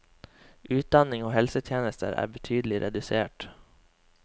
Utdanning og helsetjenester er betydelig redusert.